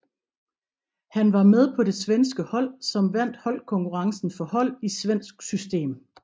Han var med på det svenske hold som vandt holdkonkurrencen for hold i svensk system